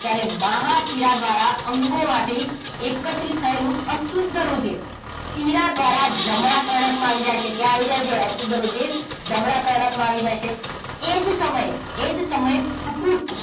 જ્યારે મહાશિરા દ્વારા અંગોમાંથી એકત્રિત થયેલું અશુદ્ધ રુધિર શીરા દ્વારા જમણા કર્ણકમાં આવી જાય છે. ક્યાં આવી જાય છે અશુદ્ધ રુધિર? જમણા કર્ણકમાં આવી જાય છે. એ જ સમયે એ જ સમયે કુપુરુષ